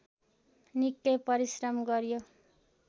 निकै परिश्रम गर्‍यो